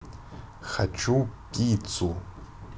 хочу пиццу